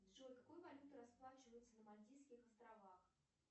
джой какой валютой расплачиваются на мальтийских островах